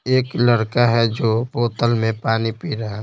एक लड़का है जो बोतल में पानी पी रहा है।